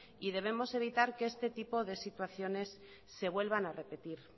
y debemos evitar que este tipo de situaciones se vuelvan a repetir